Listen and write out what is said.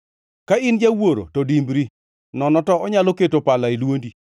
ka in jawuoro to dimbri nono to onyalo keto pala e dwondi.